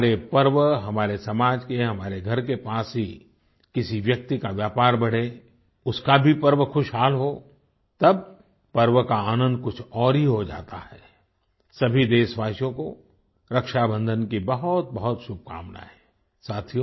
हमारे पर्व हमारे समाज के हमारे घर के पास ही किसी व्यक्ति का व्यापार बढ़े उसका भी पर्व खुशहाल हो तब पर्व का आनंद कुछ और ही हो जाता है आई सभी देशवासियों को रक्षाबंधन की बहुतबहुत शुभकामनाएं आई